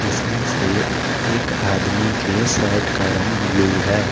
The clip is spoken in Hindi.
इसमें से एक आदमी के शर्ट का रंग ब्ल्यू है।